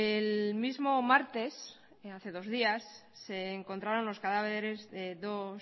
el mismo martes hace dos días se encontraron los cadáveres de dos